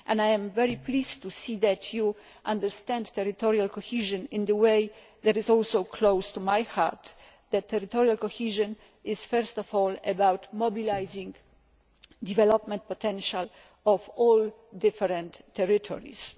I am very pleased to see that you understand territorial cohesion in a way that is close to my heart, which is that territorial cohesion is first of all about mobilising the development potential of all the different territories.